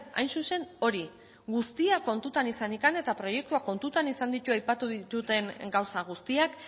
hain zuzen hori guztia kontutan izanik eta proiektuak kontutan izan ditu aipatu ditudan gauza guztiak